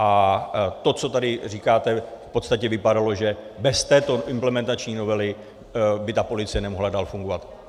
A to, co tady říkáte, v podstatě vypadalo, že bez této implementační novely by ta policie nemohla dál fungovat.